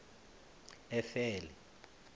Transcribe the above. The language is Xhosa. efele